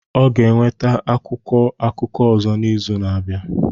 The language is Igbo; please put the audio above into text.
Ọ ga-enweta akwụkwọ akụkọ ọzọ n'izu na-abịa